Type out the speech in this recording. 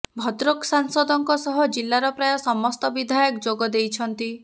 ଭଦ୍ରକ ସାଂସଦଙ୍କ ସହ ଜିଲ୍ଲାର ପ୍ରାୟ ସମସ୍ତ ବିଧାୟକ ଯୋଗ ଦେଇଛନ୍ତି